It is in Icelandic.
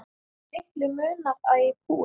Litlu munar að ég kúgist.